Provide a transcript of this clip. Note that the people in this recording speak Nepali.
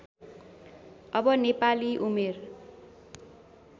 अब नेपाली उमेर